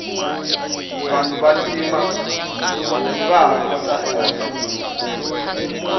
vanhu va ntima vaha xota eka nsimu leyi